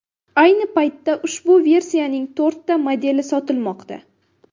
Ayni paytda ushbu versiyaning to‘rtta modeli sotilmoqda.